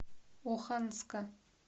оханска